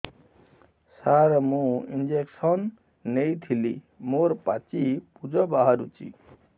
ସାର ମୁଁ ଇଂଜେକସନ ନେଇଥିଲି ମୋରୋ ପାଚି ପୂଜ ବାହାରୁଚି